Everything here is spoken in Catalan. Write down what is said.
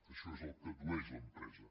això és el que addueix l’empresa